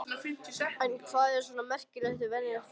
En hvað er svona merkilegt við venjulegt fólk?